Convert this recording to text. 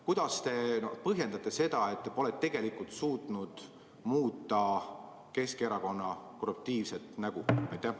Kuidas te põhjendate seda, et te pole tegelikult suutnud muuta Keskerakonna korruptiivset nägu?